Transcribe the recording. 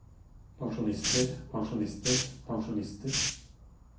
pensjonister pensjonister pensjonister